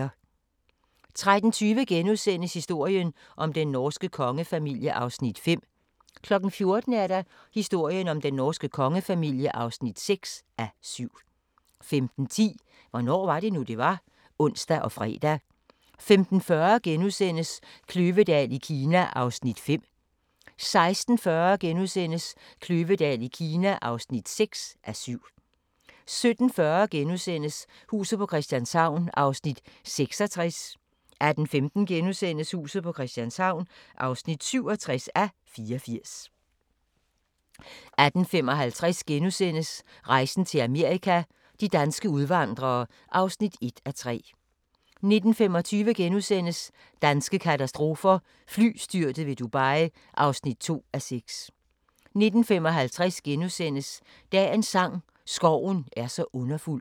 13:20: Historien om den norske kongefamilie (5:7)* 14:00: Historien om den norske kongefamilie (6:7) 15:10: Hvornår var det nu, det var? (ons og fre) 15:40: Kløvedal i Kina (5:7)* 16:40: Kløvedal i Kina (6:7)* 17:40: Huset på Christianshavn (66:84)* 18:15: Huset på Christianshavn (67:84)* 18:55: Rejsen til Amerika – de danske udvandrere (1:3)* 19:25: Danske katastrofer – Flystyrtet ved Dubai (2:6)* 19:55: Dagens sang: Skoven er så underfuld *